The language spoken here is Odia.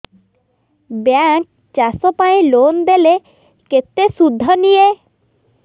ବ୍ୟାଙ୍କ୍ ଚାଷ ପାଇଁ ଲୋନ୍ ଦେଲେ କେତେ ସୁଧ ନିଏ